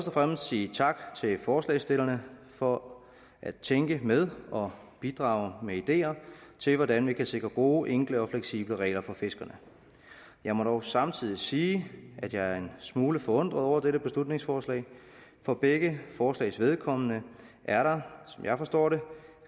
og fremmest sige tak til forslagsstillerne for at tænke med og bidrage med ideer til hvordan vi kan sikre gode enkle og fleksible regler for fiskerne jeg må dog samtidig sige at jeg er en smule forundret over dette beslutningsforslag for begge forslags vedkommende er der som jeg forstår det